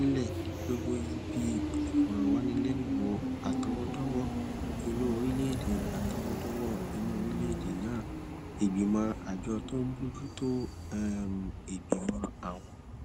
gbogbo ibi ìfòròwánilénuwò àtọwódówó inú orílèèdè àtọwódówó inú orílèèdè náà ìgbìmọ àjọ tó ń bójú tó um ìgbìmọ àwọn